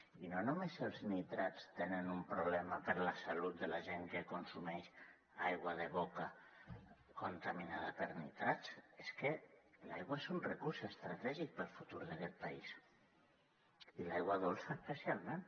i no només els nitrats tenen un problema per a la salut de la gent que consumeix aigua de boca contaminada per nitrats és que l’aigua és un recurs estratègic per al futur d’aquest país i l’aigua dolça especialment